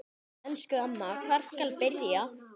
Elsku amma, hvar skal byrja?